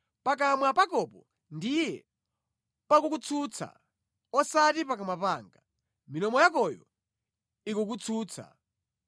Pakamwa pakopo ndiye pakukutsutsa osati pakamwa panga; milomo yakoyo ikukutsutsa.